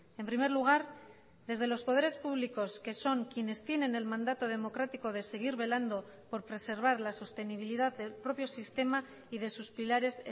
en primer lugar desde los poderes públicos que son quiénes tienen el mandato democrático de seguir velando por preservar la sostenibilidad del propio sistema y de sus pilares